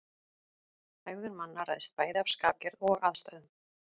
Hegðun manna ræðst bæði af skapgerð og aðstæðum.